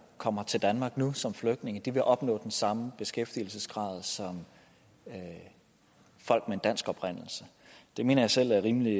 kommer til danmark nu som flygtninge vil opnå den samme beskæftigelsesgrad som folk af dansk oprindelse det mener jeg selv er rimelig